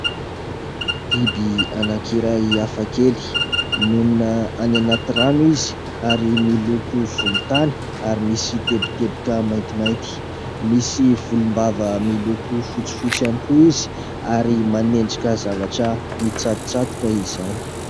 Biby anankiray hafakely. Monina any anaty rano izy ary miloko volontany ary misy teboteboka maintimainty. Misy volom-bava miloko fotsifotsy ihany koa izy ary manendrika zavatra mitsatotsatoka izany.